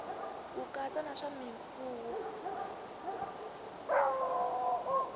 ku katsa na swa mimfuwo